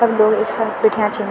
सब लोग एक साथ बैठ्याँ छिन।